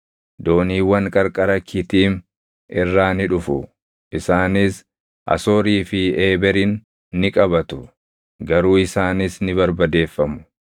Dooniiwwan qarqara Kitiim irraa ni dhufu; isaanis Asoorii fi Eeberin ni qabatu; garuu isaanis ni barbadeeffamu.”